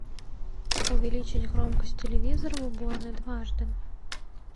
увеличить громкость телевизора в уборной дважды